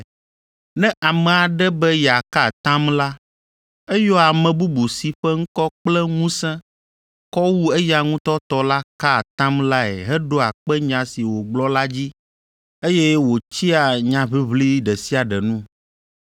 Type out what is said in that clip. Ne ame aɖe be yeaka atam la, eyɔa ame bubu si ƒe ŋkɔ kple ŋusẽ kɔ wu eya ŋutɔ tɔ la ka atam lae heɖoa kpe nya si wògblɔ la dzi, eye wòtsia nyaʋiʋli ɖe sia ɖe nu.